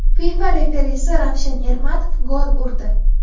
FIFA referisi Ravshan Ermatov gol urdi.